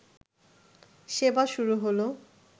সেবা শুরু হলো